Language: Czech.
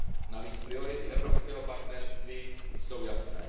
Navíc priority evropského partnerství jsou jasné.